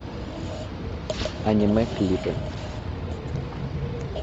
аниме клипы